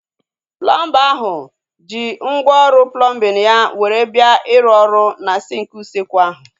Plọmba ahụ ji ngwá ọrụ plọmbin ya were bịa iru ọrụ na sinki usekwu ahu